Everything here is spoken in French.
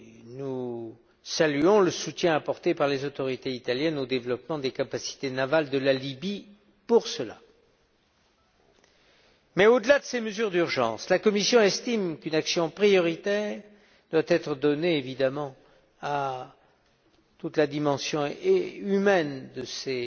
Nous saluons le soutien apporté par les autorités italiennes au développement des capacités navales de la Libye à cet effet. Mais au delà de ces mesures d'urgence, la Commission estime qu'une action prioritaire doit être donnée à toute la dimension humaine de ces